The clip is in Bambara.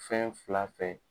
Fɛn fila fɛ.